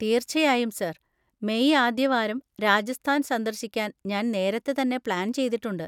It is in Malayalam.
തീർച്ചയായും, സർ. മെയ് ആദ്യവാരം രാജസ്ഥാൻ സന്ദർശിക്കാൻ ഞാൻ നേരത്തെ തന്നെ പ്ലാൻ ചെയ്തിട്ടുണ്ട്.